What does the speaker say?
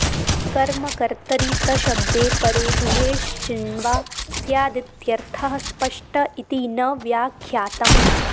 कर्मकर्तरि तशब्दे परे दुहेश्चिण्वा स्यादित्यर्थः स्पष्ट इति न व्याख्यातम्